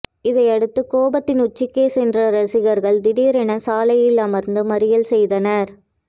இதையடுத்து கோபத்தின் உச்சிக்கே சென்ற ரசிகர்கள் திடீரென சாலையில் அமர்ந்து மறியல் செய்தனர்